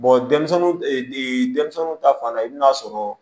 denmisɛnninw ni denmisɛnnu ta fan i bi n'a sɔrɔ